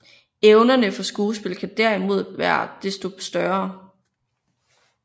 Evnerne for skuespil kan derimod være desto større